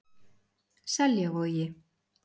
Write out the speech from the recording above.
Seljavogi